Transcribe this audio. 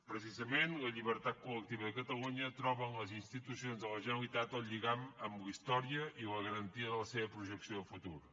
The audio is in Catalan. precisament la llibertat colba en les institucions de la generalitat el lligam amb la història i la garantia de la seva projecció de futur